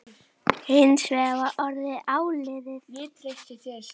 Hins vegar var orðið áliðið.